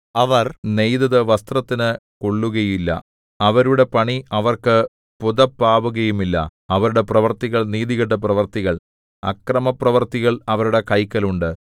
അവർ നെയ്തതു വസ്ത്രത്തിനു കൊള്ളുകയില്ല അവരുടെ പണി അവർക്ക് പുതപ്പാവുകയും ഇല്ല അവരുടെ പ്രവൃത്തികൾ നീതികെട്ട പ്രവൃത്തികൾ അക്രമപ്രവൃത്തികൾ അവരുടെ കൈക്കൽ ഉണ്ട്